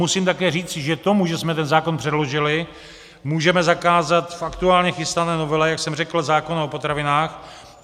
Musím také říci, že tomu, že jsme ten zákon předložili, můžeme zakázat v aktuálně chystané novele, jak jsem řekl, zákon o potravinách.